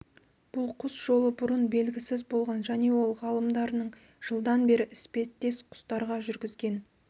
бұл құс жолы бұрын белгісіз болған және ол ғалымдарының жылдан бері іспеттес құстарға жүргізген